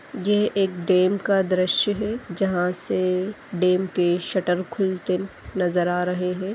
ये एक डेम का दृश्य है जहां से डेम के शटर खुलते नजर आ रहे हैं ।